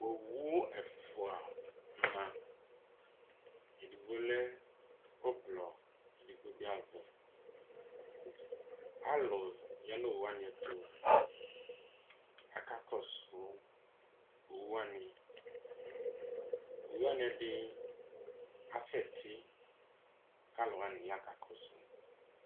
Owu ɛfua ma Edigbo lɛ ɔblɔ edigbo bi aʋɛ Alu ya n'owu 'ani ɛtu k'aka kɔsu owu 'ani Owu 'ani ɛdi asɛ tɩ k'alu wani ya ka kɔsu